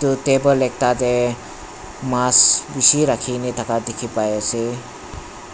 etu table ekta te mas bishi rakhikene thaka dikhi pa ase